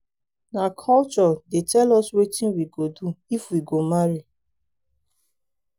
na culture dey tell us wetin we go do if we go marry.